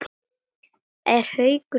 Er Haukur sammála því?